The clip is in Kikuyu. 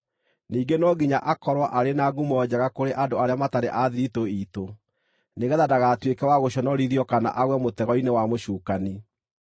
Ningĩ no nginya akorwo arĩ na ngumo njega kũrĩ andũ arĩa matarĩ a thiritũ iitũ, nĩgeetha ndagatuĩke wa gũconorithio kana agwe mũtego-inĩ wa mũcukani.